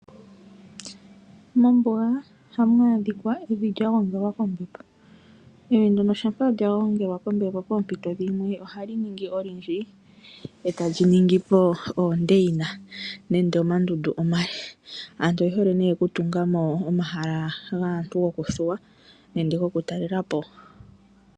Mombuga ohamu adhika evi lyagongelwa kombepo. Shampa lyagongelwa kombepo poompito dhimwe ohali ningi olindji eta lyi ningipo oondeyina nande omandundu omale. Aantu oye hole okutungamo omahala gaantu gokuthuwa nenge gokutalelapo.